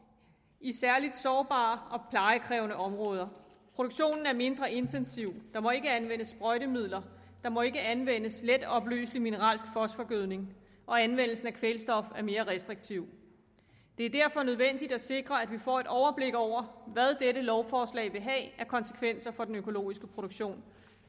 i særlig sårbare og plejekrævende områder produktionen er mindre intensiv der må ikke anvendes sprøjtemidler der må ikke anvendes letopløselig mineralsk fosforgødning og anvendelsen af kvælstof er mere restriktiv det er derfor nødvendigt at sikre at vi får et overblik over hvad dette lovforslag vil have af konsekvenser for den økologiske produktion